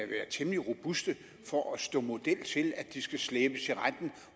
være temmelig robuste for at stå model til at de skal slæbes i retten